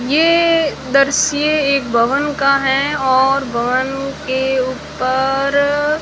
ये दरश्य एक भवन का है और भवन के ऊपर--